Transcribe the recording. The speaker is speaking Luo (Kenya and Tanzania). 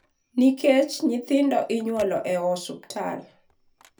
nikech nyithindo inyuool e osiptal,